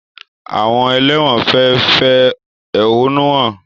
Àwọn ẹlẹ́wọ̀n fẹ fẹ́ ehonu hàn